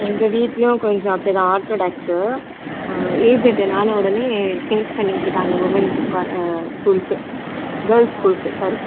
எங்க வீட்டிலயும் கொஞ்சம் அப்படி தான் orthodox ஹம் age attend ஆன உடனே change பண்ணி விட்டுடாங்க womens ஆஹ் school க்கு girls school க்கு sorry